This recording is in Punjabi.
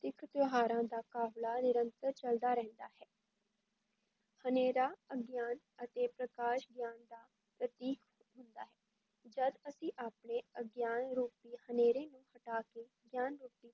ਤਿਥ-ਤਿਉਹਾਰਾਂ ਦਾ ਕਾਫ਼ਲਾ ਨਿਰੰਤਰ ਚੱਲਦਾ ਰਹਿੰਦਾ ਹੈ ਹਨੇਰਾ, ਅਗਿਆਨ ਅਤੇ ਪ੍ਰਕਾਸ਼ ਗਿਆਨ ਦਾ ਪ੍ਰਤੀਕ ਹੁੰਦਾ ਹੈ, ਜਦ ਅਸੀਂ ਆਪਣੇ ਅਗਿਆਨ ਰੂਪੀ ਹਨੇਰੇ ਨੂੰ ਹਟਾ ਕੇ ਗਿਆਨ ਰੂਪੀ